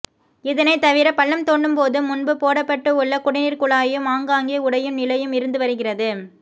இதனை தவிர பள்ளம் தோண்டும் போது முன்பு போடப்பட்டு உள்ள குடிநீர் குழாயும் ஆங்காங்கே உடையும் நிலையும் இருந்து வருகிறது